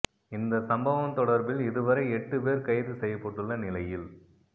இந்த சம்பவம் தொடர்பில் இதுவரை எட்டு பேர் கைது செய்யப்பட்டுள்ள நிலையில்